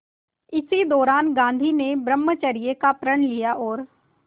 इसी दौरान गांधी ने ब्रह्मचर्य का प्रण लिया और